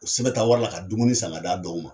o sɛbɛnta wari la ka dumuni san ka d'a dɔw ma.